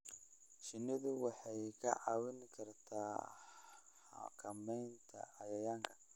Shinnidu waxay kaa caawin kartaa xakamaynta cayayaanka.